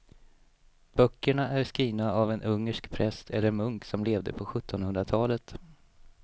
Böckerna är skrivna av en ungersk präst eller munk som levde på sjuttonhundratalet.